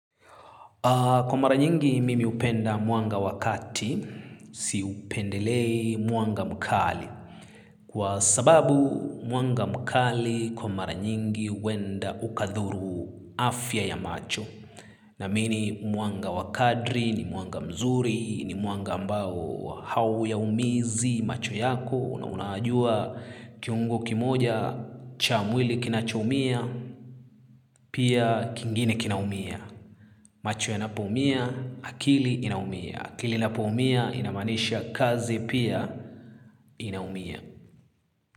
Kwa mara nyingi mimi hupenda mwanga wa kati, siupendelei mwanga mkali. Kwa sababu mwanga mkali kwa mara nyingi huenda ukadhuru afya ya macho. Naamini muanga wakadri ni mwanga mzuri ni mwanga ambao hauyaumizi macho yako. Una unajua kiuongo kimoja cha mwili kinachoumia, pia kingine kinaumia. Macho yanapoumia, akili inaumia. Akili inapoumia inamaanisha kazi pia inaumia.